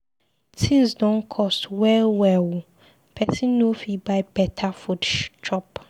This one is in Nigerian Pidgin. Tins don cost well well o, pesin no fit buy beta food chop.